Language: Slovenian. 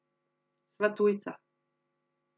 Sva tujca.